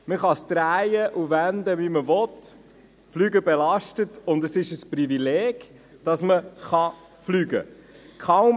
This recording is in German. Man kann es drehen und wenden wie man will: Fliegen belastet, und es ist ein Privileg, dass man Fliegen kann.